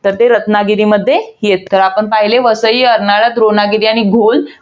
तर ते रत्नागिरीमध्ये येतात. तर आपण पहिले वसई, अर्नाळा, द्रोणागिरी आणि घौल.